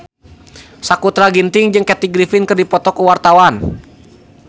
Sakutra Ginting jeung Kathy Griffin keur dipoto ku wartawan